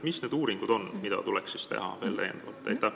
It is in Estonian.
Mis need uuringud on, mida tuleks täiendavalt teha?